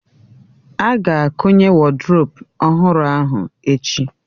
A ga-akụnye woduropu ọhụrụ ahụ echi